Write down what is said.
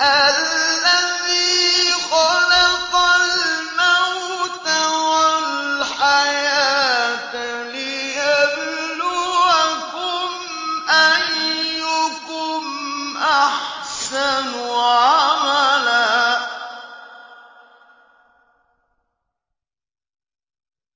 الَّذِي خَلَقَ الْمَوْتَ وَالْحَيَاةَ لِيَبْلُوَكُمْ أَيُّكُمْ أَحْسَنُ عَمَلًا ۚ